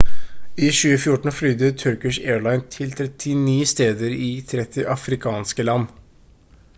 i 2014 flydde turkish airlines til 39 steder i 30 afrikanske land